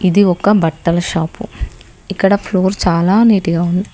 ఇది ఒక బట్టల షాపు ఇక్కడ ఫ్లోర్ చాలా నీటిగా ఉంది.